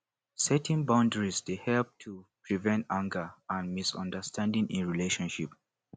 setting boundaries dey help to prevent anger and misunderstanding in relationship